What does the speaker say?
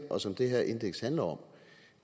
og som det her indeks handler om